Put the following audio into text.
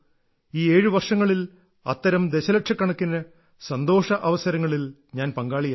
ഈ ഏഴ് വർഷങ്ങളിൽ അത്തരം ദശലക്ഷക്കണക്കിന് സന്തോഷ അവസരങ്ങളിൽ ഞാൻ പങ്കാളിയായി